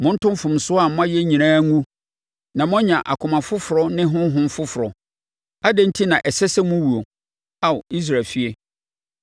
Monto mfomsoɔ a moayɛ nyinaa ngu na moanya akoma foforɔ ne honhom foforɔ. Adɛn enti na ɛsɛ sɛ mowuo, Ao Israel efie?